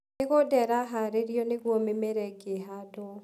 Mĩgũnda ĩraharĩrio nĩguo mĩmera ĩngĩ ĩhandwo.